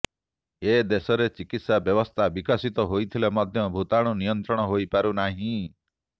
ଏଦେଶରେ ଚିକିତ୍ସା ବ୍ୟବସ୍ଥା ବିକଶିତ ହୋଇଥିଲେ ମଧ୍ୟ ଭୁତାଣୁ ନିୟନ୍ତ୍ରଣ ହୋଇପାରୁ ନାହିଁ